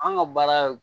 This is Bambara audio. An ka baara